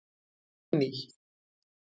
Benný